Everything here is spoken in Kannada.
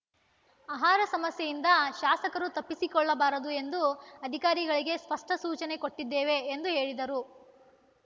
ಆಹಾರ ಸಮಸ್ಯೆಯಿಂದ ಶಾಸಕರು ತಪ್ಪಿಸಿಕೊಳ್ಳಬಾರದು ಎಂದು ಅಧಿಕಾರಿಗಳಿಗೆ ಸ್ಪಷ್ಟಸೂಚನೆ ಕೊಟ್ಟಿದ್ದೇವೆ ಎಂದು ಹೇಳಿದರು